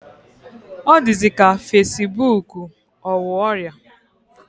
Ọ dịzị ka fasibuuku ọ wụ ọrịa.